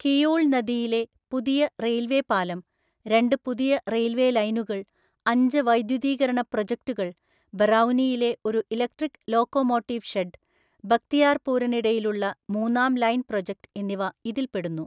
കിയൂൾ നദിയിലെ പുതിയ റെയില്‍വെ പാലം, രണ്ട് പുതിയ റെയില്‍വെലൈനുകള്‍, അഞ്ച് വൈദ്യുതീകരണ പ്രോജക്ടുകള്‍, ബറൗനിയിലെ ഒരു ഇലക്ട്രിക് ലോക്കോമോട്ടീവ്ഷെഡ്, ബക്തിയാർപൂരിന് ഇടയിലുള്ള മൂന്നാം ലൈന്‍ പ്രോജക്റ്റ് എന്നിവ ഇതില്‍പ്പെടുന്നു.